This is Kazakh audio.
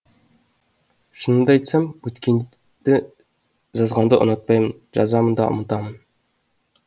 шынымды айтсам өткенді жазғанды ұнатпаймын жазамын да ұмытамын